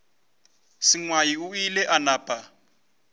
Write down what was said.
sengwai o ile a napa